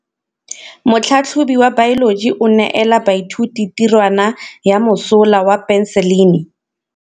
Motlhatlhaledi wa baeloji o neela baithuti tirwana ya mosola wa peniselene.